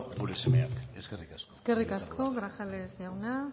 gure semeak eskerrik asko eskerrik asko grajales jauna